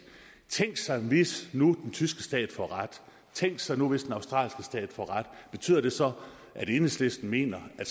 tænk sig hvis nu den tyske stat får ret tænk sig hvis den australske stat får ret betyder det så at enhedslisten mener at